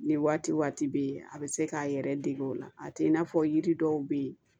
Ni waati waati bɛ yen a bɛ se k'a yɛrɛ dege o la a tɛ i n'a fɔ yiri dɔw bɛ yen